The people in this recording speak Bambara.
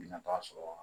Nata sɔrɔ